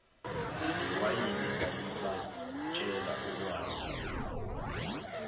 newayini lalibatshela okwalo